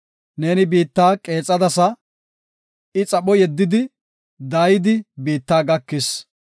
Neeni biitta qeexadasa; I xapho yeddidi, daayidi biitta gakis.